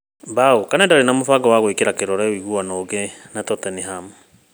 (mbaũ) Kane ndarĩ na mũbango wa gwĩkĩra kĩrore ũiguano ũngĩ na Tottenham